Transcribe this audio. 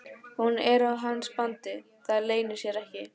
Hún er á hans bandi, það leynir sér ekki.